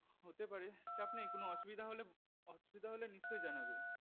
হতে পারে চাপ নেই কোনো অসুবিধা অসুবিধা হলে নিশ্চয় জানাবে